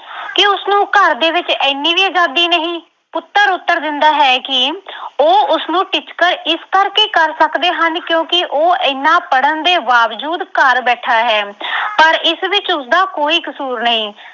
ਘਰ ਦੇ ਵਿੱਚ ਐਨੀ ਵੀ ਅਜ਼ਾਦੀ ਨਹੀਂ, ਪੁੱਤਰ ਉੱਤਰ ਦਿੰਦਾ ਹੈ ਕਿ ਉਹ ਉਸਨੂੰ ਟਿਚਕਰ ਇਸ ਕਰਕੇ ਕਰ ਸਕਦੇ ਹਨ ਕਿਉਂਕਿ ਉਹ ਐਨਾ ਪੜ੍ਹਨ ਦੇ ਬਾਵਜੂਦ ਘਰ ਬੈਠਾ ਹੈ ਪਰ ਇਸ ਵਿੱਚ ਉਸਦਾ ਕੋਈ ਕਸੂਰ ਨਹੀਂ।